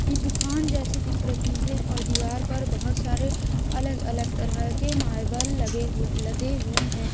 की दुकान जैसी दिख रही है और दीवार पर बहोत सारे अलग अलग तरह के मार्बल लगे हुए लदे हुए है।